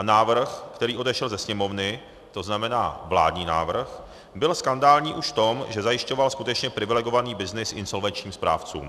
A návrh, který odešel ze Sněmovny, to znamená vládní návrh, byl skandální už v tom, že zajišťoval skutečně privilegovaný byznys insolvenčním správcům.